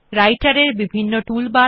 রাইটের এর বিভিন্ন টুল বার